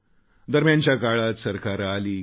दरम्यानच्या काळात सरकारे आलीगेली